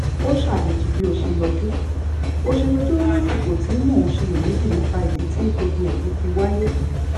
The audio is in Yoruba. ó ṣàjèjì bí o ṣe yọjú o ṣe yọjú lásìkò tí mo ń ṣiyèméjì nípa ìdí tí gbogbo èyí fi wáyé